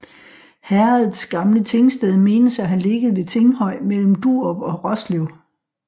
Herredets gamle tingsted menes at have ligget ved Tinghøj mellem Durup og Roslev